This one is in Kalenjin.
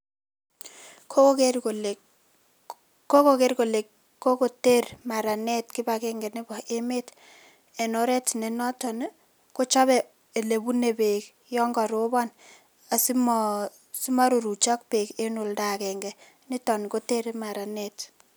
Koker kole kokoker kole kokoter maranet kipagenge nebo emet en oret nenoton ii kochobe olebune beek yon korobon asimo simoruruchok beek en olda agenge niton kotere maranet